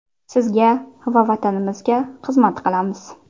Sizga va Vatanimizga xizmat qilamiz.